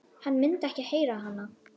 Hann myndi ekki heyra hana.